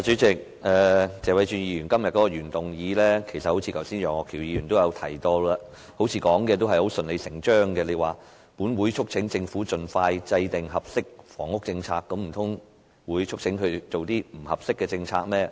主席，剛才楊岳橋議員亦提到，謝偉俊議員今天的原議案似乎順理成章地說："本會促請政府盡快制訂合適房屋政策"，難道會促請政府制訂不合適的政策嗎？